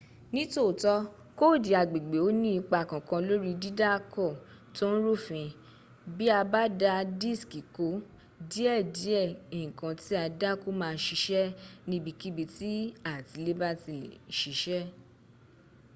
ni tooto koodi agbègbè o ni ipa kankan lori didaako to n rufin bi a ba da diski ko die die nkan ti a dako ma a sise nibikibi ti atileba ti le sise